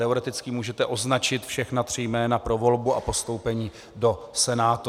Teoreticky můžete označit všechna tři jména pro volbu a postoupení do Senátu.